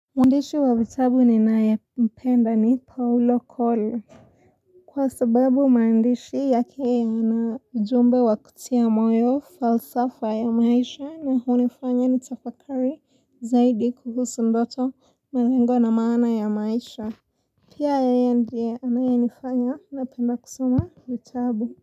Mwandishi wa vitabu ni naye mpenda ni Paulo Cole. Kwa sababu mandishi yake ana ujumbe wa kutia moyo falsafa ya maisha na hunifanya ni tafakari zaidi kuhusu ndoto malengo na maana ya maisha. Pia yeye ndiye anaye nifanya na penda kusuma vitabu.